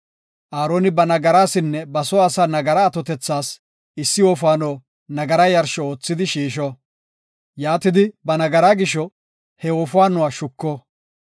Aaroni ba nagarasinne ba soo asaa nagaraa atotethas issi wofaano nagaraa yarsho oothidi shiisho. Yaatidi ba nagaraa gisho he wofaanuwa shuko.